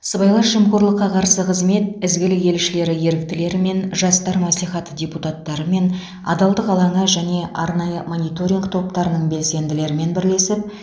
сыбайлас жемқорлыққа қарсы қызмет ізгілік елшілері еріктілерімен жастар мәслихаты депутаттарымен адалдық алаңы және арнайы мониторинг топтарының белсенділерімен бірлесіп